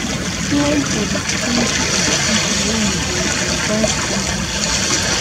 Plan for di security of di pipo wey you dey invite come di party